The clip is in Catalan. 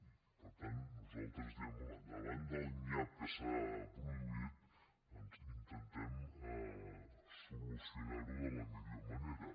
i per tant nosaltres diem home davant del nyap que s’ha produït doncs intentem solucionar ho de la millor manera